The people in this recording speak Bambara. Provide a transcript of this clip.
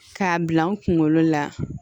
K'a bila n kunkolo la